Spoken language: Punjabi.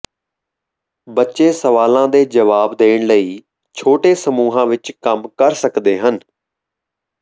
ਬੱਚੇ ਸਵਾਲਾਂ ਦੇ ਜਵਾਬ ਦੇਣ ਲਈ ਛੋਟੇ ਸਮੂਹਾਂ ਵਿੱਚ ਕੰਮ ਕਰ ਸਕਦੇ ਹਨ